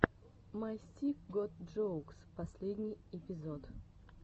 май стик гот джоукс последний эпизод